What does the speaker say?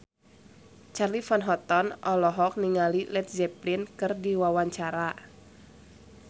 Charly Van Houten olohok ningali Led Zeppelin keur diwawancara